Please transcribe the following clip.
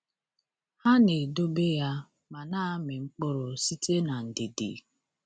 Ha “na-edobe ya ma na-amị mkpụrụ site n’ndidi.”